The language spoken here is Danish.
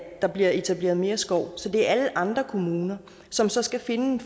der bliver etableret mere skov så det er alle andre kommuner som så skal finde